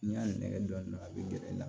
N'i y'a nɛgɛ dɔɔnin a bɛ gɛrɛ i la